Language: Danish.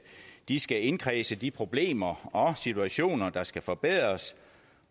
de skal indkredse de problemer og situationer der skal forbedres